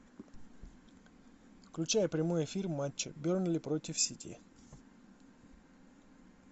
включай прямой эфир матча бернли против сити